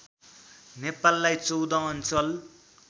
नेपाललाई १४ अञ्चल